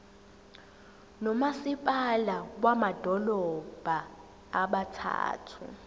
nomasipala bamadolobha abathathu